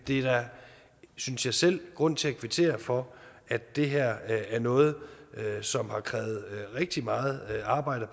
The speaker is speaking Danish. er da synes jeg selv grund til at kvittere for at det her er noget som har krævet rigtig meget arbejde